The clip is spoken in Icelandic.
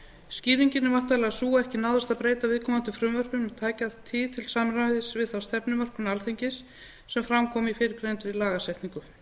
skýringin er væntanlega sú að ekki náðist að breyta viðkomandi frumvörpum í tæka tíð til samræmis við þá stefnumörkun alþingis sem fram kom í fyrrgreindri lagasetningu